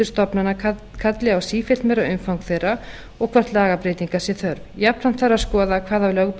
stofnana kalli á sífellt meira umfang þeirra og hvort lagabreytinga sé þörf jafnframt